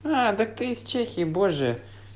так ты из чехии боже